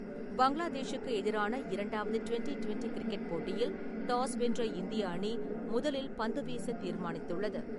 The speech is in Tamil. பங்களாதேஷுக்கு எதிரான இரண்டாவது டுவென்டி டுவென்டி கிரிக்கெட் போட்டியில் டாஸ் வென்ற இந்திய அணி முதலில் பந்து வீசத் தீர்மானித்துள்ளது.